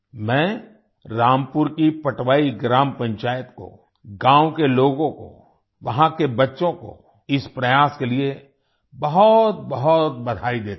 मैं रामपुर की पटवाई ग्राम पंचायत को गांव को लोगों को वहां के बच्चों को इस प्रयास के लिए बहुतबहुत बधाई देता हूं